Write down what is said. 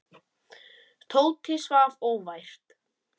Tóti svaf óvært.